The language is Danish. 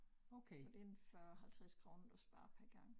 Så det en 40 50 kroner du sparer per gang